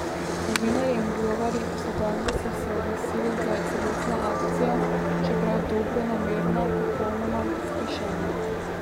Novinarji in blogerji iz Ugande so se oglasili, da je celotna akcija, čeprav dobronamerna, popolnoma zgrešena.